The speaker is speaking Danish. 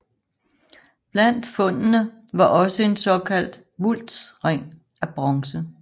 Blandt fundene var også en såkaldt vultsring af bronze